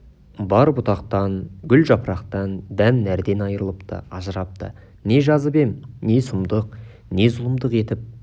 бар бұтақтан гүл жапырақтан дән нәрден айрылыпты ажырапты не жазып ем не сұмдық не зұлымдық етіп